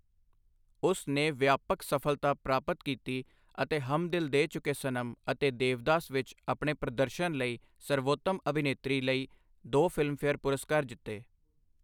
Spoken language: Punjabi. ਉਸ ਨੇ ਵਿਆਪਕ ਸਫਲਤਾ ਪ੍ਰਾਪਤ ਕੀਤੀ ਅਤੇ ਹਮ ਦਿਲ ਦੇ ਚੁਕੇ ਸਨਮ ਅਤੇ ਦੇਵਦਾਸ ਵਿੱਚ ਆਪਣੇ ਪ੍ਰਦਰਸ਼ਨ ਲਈ ਸਰਬੋਤਮ ਅਭਿਨੇਤਰੀ ਲਈ ਦੋ ਫਿਲਮਫੇਅਰ ਪੁਰਸਕਾਰ ਜਿੱਤੇ।